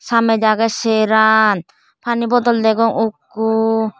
samej agey seran pani bodol degong ekko.